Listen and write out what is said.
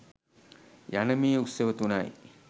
යන මේ උත්සව තුනයි.